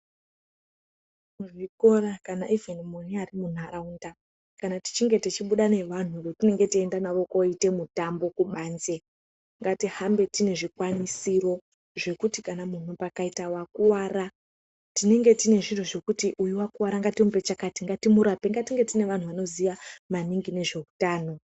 Mu zvikora kana ivheni munyari mu nharaunda kana tichinge tichi buda ne vanhu vatinenge teyi enda navo koite navo mitambo kubanze ngati hambe tine zvikwanisiro zvekutu munhu pakaita wakwara tinenge tine zviro zvekuti uyu akwara ngatimupe chakati ngatimu rape ngatinge tine anhu anoziya maningi nezve utano.